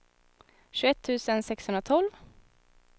tjugoett tusen sexhundratolv